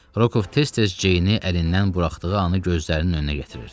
Rokov tez-tez Ceyni əlindən buraxdığı anı gözlərinin önünə gətirirdi.